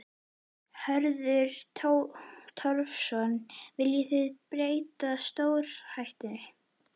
Hörður Torfason: Viljum við breytta stjórnarhætti?